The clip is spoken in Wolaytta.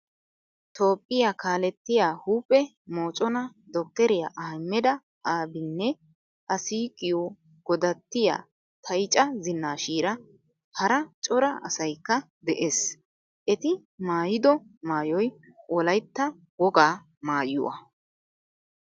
Toophphiyaa kaalettiyaa huuphphee moccona dokteriyaa ahmeda abiynne a siiqiyo godattiyaa tayacha zinashira hara cora asaykka de'ees. Etti maayido maayoy wolaytta wogaa maayuwwa.